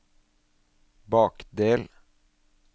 bakdel